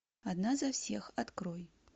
одна за всех открой